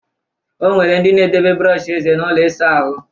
O nwere ndị na-edebe brọọshị eze n'ụlọ ịsa ahụ